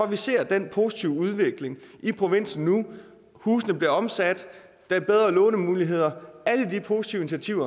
vi ser den positive udvikling i provinsen nu husene bliver omsat der er bedre lånemuligheder alle de positive